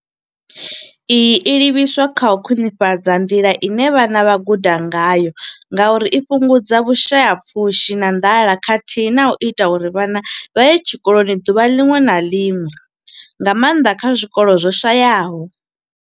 Iyi yo livhiswa kha u khwinifhadza nḓila ine vhana vha guda ngayo ngauri i fhungudza vhushayapfushi na nḓala khathihi na u ita uri vhana vha ye tshikoloni ḓuvha ḽiṅwe na ḽiṅwe nga maanḓa kha zwikolo zwo shayaho.